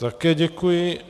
Také děkuji.